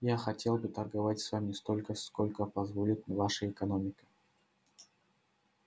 я хотел бы торговать с вами столько сколько позволит наша экономика